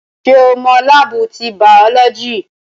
Ṣé o mọ láábù ti bàọ́lọ́jì?